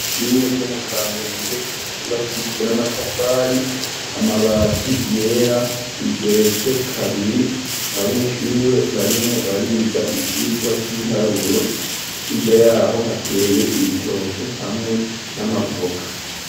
Ishure ryo mu kamenge yubakishijwe n'amatafari, amabati yera rigeretse kabiri abanyeshure barimwo bariga icigwa c'ibiharuro hirya yaho hateye ibitoke hamwe n'amavoka.